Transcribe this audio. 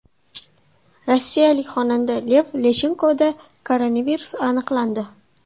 Rossiyalik xonanda Lev Leshenkoda koronavirus aniqlandi.